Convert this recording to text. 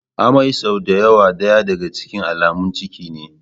Amai sau da yawa daya daga cikin alamun ciki ne.